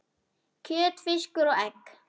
kjöt, fiskur og egg